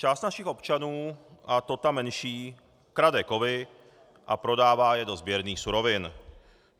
Část našich občanů, a to ta menší, krade kovy a prodává je do sběrných surovin.